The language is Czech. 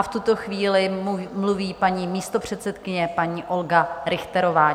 A v tuto chvíli mluví paní místopředsedkyně, paní Olga Richterová.